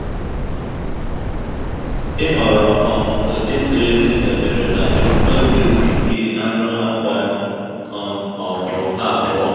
ịhọrọ um ụdị ziri ezi dabere na ebumnobi ubi gị anụ akwa um ma ọ bụ ha abụọ